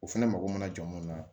O fɛnɛ mago mana jɔ mun na